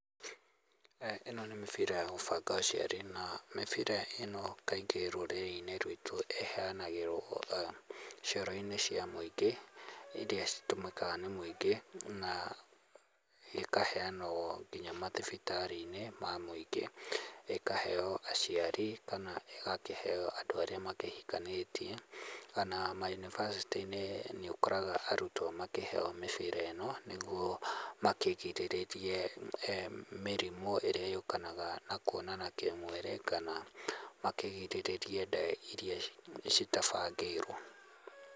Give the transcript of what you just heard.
Ĩno nĩ mĩbira ya gũbanga ũciari, na mĩbira ĩno kaingĩ rũrĩrĩ-inĩ rwĩtũ ĩheanagĩrwo ona cioro-inĩ cia mũingĩ, iria citũmĩkaga nĩ mũingĩ, na ikaheanwo nginya mathibitarĩ-inĩ, ma mũingĩ. Ĩkaheo aciari, kana ĩgakĩheo andũ arĩa makĩhikanĩtie, oma mayunibacĩtĩ-inĩ nĩũkoraga arutwo makĩheo mĩbira ĩno, nĩguo makĩgirĩrĩrie mĩrimũ ĩrĩa yũkanaga na kuonana kĩmwĩrĩ, kana makĩgirĩrĩrie nda iria citabangĩirwo.